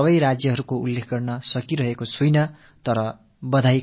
என்னால் பாராட்டுக்கு தகுதியான அனைத்து மாநிலங்கள் பற்றியும் தெரிவிக்க முடியவில்லை